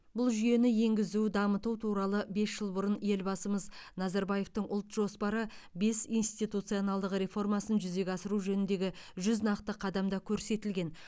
бұл жүйені енгізу дамыту туралы бес жыл бұрын елбасымыз назарбаевтың ұлт жоспары бес институционалдық реформасын жүзеге асыру жөніндегі жүз нақты қадамда көрсетілген